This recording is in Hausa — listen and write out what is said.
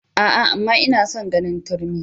A'a! amma ina son ganin turmi.